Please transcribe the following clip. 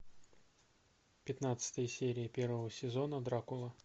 пятнадцатая серия первого сезона дракула